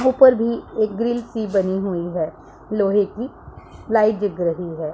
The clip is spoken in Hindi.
ऊपर भी एक ग्रिल सी बनी हुई है लोहे की लाइट जिग रही है।